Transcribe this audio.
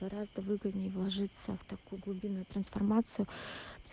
гораздо выгодней вложиться в такую глубинную трансформацию